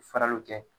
Faraliw kɛ